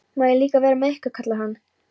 Má ég líka vera með ykkur? kallar hann.